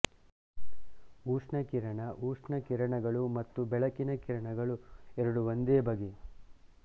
ಉಷ್ಣ ಕಿರಣ ಉಷ್ಣ ಕಿರಣಗಳು ಮತ್ತು ಬೆಳಕಿನ ಕಿರಣಗಳು ಎರಡು ಒಂದೇ ಬಗೆ